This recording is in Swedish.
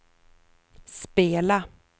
spela